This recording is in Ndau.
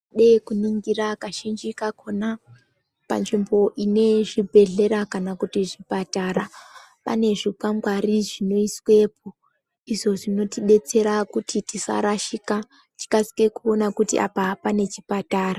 Dei kuningira kazhinji kakona, panzvimbo ine zvibhedhlera kana kuti zvipatara, pane zvikwangwari zvinoiswepo. Ndizvo zvinotidetsera kuti tisarashika, tikasike kuona kuti apa pane chipatara.